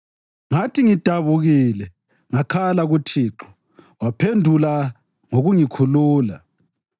Ngathi ngidabukile ngakhala kuThixo, waphendula ngokungikhulula.